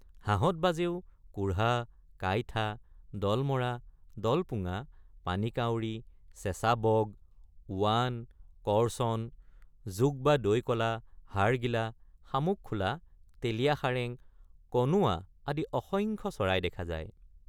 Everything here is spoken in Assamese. হাঁহত বাজেও কোঢ়া কাইঠা দলমৰা দলপুঙা পানীকাউৰী চেঁচাবগ ওৱাক কৰ্চন ঘোগ বা দৈকলা হাড়গিলা শামুকখোলা তেলীয়াসাৰেং কনোৱা আদি অসংখ্য চৰাই দেখা যায়।